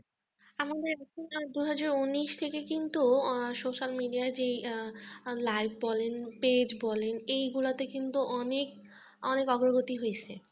আমাদের এখানে দুহাজার উনিশ থেকে কিন্তু হম social media য় যেই live বলেন page বলেন এইগুলাতে কিন্তু অনেক অনেক অগ্রগতি হয়েছে